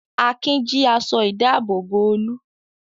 Akin jí aṣọ-ìdáàbòbò Olú.